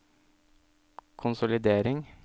konsolidering